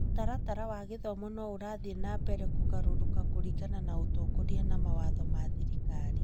Mũtaratara wa gĩthomo no ũrathiĩ na mbere kũgarũrũka kũringana na ũtongoria na mawatho ma thirikari.